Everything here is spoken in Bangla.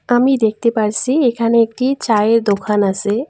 আমি দেখতে পারসি এখানে একটি চায়ের দোকান আসে।